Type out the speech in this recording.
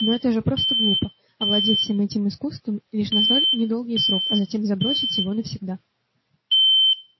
но это же просто глупо овладеть всем этим искусством лишь на столь недолгий срок а затем забросить его навсегда